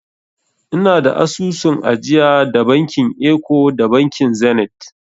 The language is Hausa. Ina da asusun ajiya da bankin eko da bankin zenit.